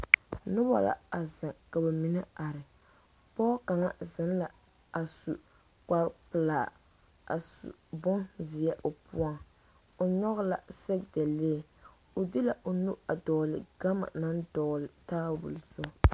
Noba la a zeŋ ka ba mine are pɔgɔ kaŋ zeŋ la a su kpar pelaa a su bonzeɛ o poɔŋ o nyɔge la sɛge dalee o de la o nu a dɔgele gama naŋ dɔgele tabol zu